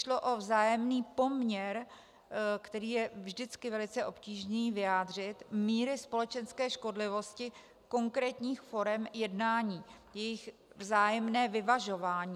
Šlo o vzájemný poměr, který je vždycky velice obtížné vyjádřit, míry společenské škodlivosti konkrétních forem jednání, jejich vzájemné vyvažování.